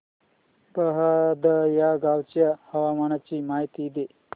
बहादा या गावाच्या हवामानाची माहिती दे